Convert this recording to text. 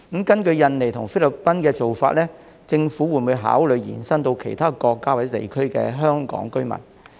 根據與印尼和菲律賓的安排，政府會否考慮將這做法延伸到其他國家或地區的香港居民？